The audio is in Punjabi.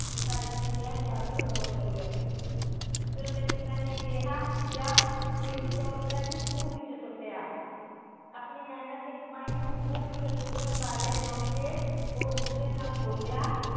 ਤੇ ਆਪਣੇ ਪਿਤਾ ਜੀ ਨੂੰ ਕਿਹਾ ਆਹ ਲੋ ਸੋ ਰੁਪਏ। ਫਿਰ ਉਹਂਦੇ ਪਿਤਾ ਨੇ ਕਿਹਾ ਜਾ ਇਹ ਵੀ ਸੋ ਰੁਪਇਆ ਤੂੰ ਖੂ ਵਿਚ ਸੁੱਟ ਆ। ਆਪਣੀ ਮੇਹਨਤ ਦੀ ਕਮਾਈ ਨੂੰ ਖੂ ਵਿੱਚ ਸੁੱਟਣ ਬਾਰੇ ਸੁਣ ਕੇ ਉਹ ਗੁੱਸੇ ਨਾਲ ਬੋਲਿਆ।